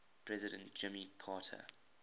president jimmy carter